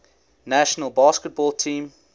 national basketball team